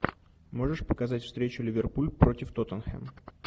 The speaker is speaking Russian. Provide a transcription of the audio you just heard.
можешь показать встречу ливерпуль против тоттенхэм